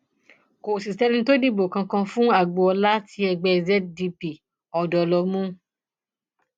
kò sì sẹni tó dìbò kankan fún agboola tí ẹgbẹ zdp ọdọ lọ mú